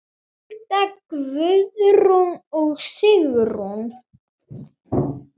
Hulda, Guðrún og Sigrún.